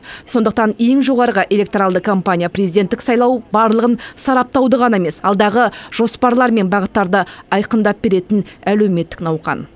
сондықтан ең жоғарғы электоралды кампания президенттік сайлау барлығын сараптауды ғана емес алдағы жоспарлар мен бағыттарды айқындап беретін әлеуметтік науқан